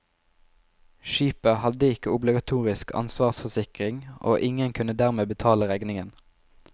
Skipet hadde ikke obligatorisk ansvarsforsikring, og ingen kunne dermed betale regningen.